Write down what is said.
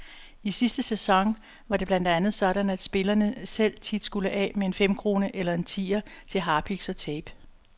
I sidste sæson var det blandt andet sådan, at spillerne selv tit skulle af med en femkrone eller en tier til harpiks og tape.